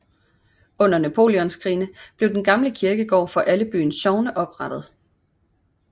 Under Napoleonskrigene blev den gamle kirkegård for alle byens sogne oprettet